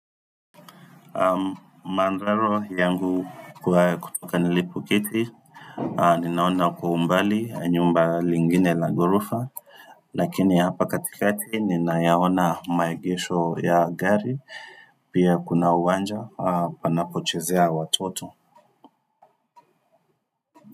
Mandhari yangu kwa hapa nilipoketi ninaona kwa umbali nyumba lingine la gorofa lakini hapa katikati ninaona maegesho ya gari pia kuna uwanja panapochezea watoto.